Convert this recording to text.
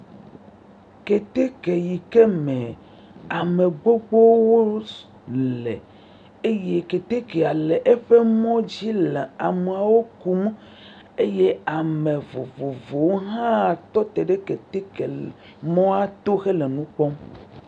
Keteke yike me amegbogbowo le eye ketekea le eƒe mɔdzi le ameawo kum eye ame vovowo wo hã tɔ teɖe keteke mɔa to wo he le enu kpɔm.